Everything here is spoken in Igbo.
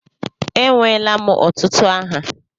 Enweela m ọtụtụ aha.